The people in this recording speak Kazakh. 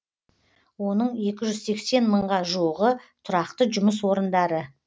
оның екі жүз сексен мыңға жуығы тұрақты жұмыс орындары